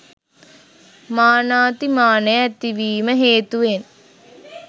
මානාති මානය ඇතිවීම හේතුවෙන්